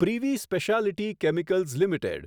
privy speciality chemicals limited